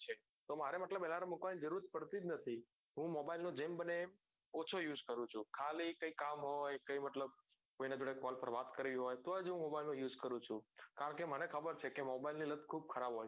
તો મારે મતલબ alarm મુકવાની જરૂર પડતી જ નથી હું mobile મા જેમ ઓછો use કરું છું ખાલી કઈ કામ હોય કોઈના જોડે phone પર વાત કરવી હોય તો mobile નો use કરું છું કારણ કે મને ખબર છે કે mobile ની લત ખુબ ખરાબ હોય છે